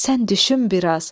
Sən düşün biraz.